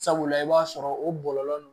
Sabula i b'a sɔrɔ o bɔlɔlɔ ninnu